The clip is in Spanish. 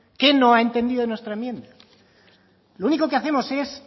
qué no ha entendido de nuestra enmienda lo único que hacemos es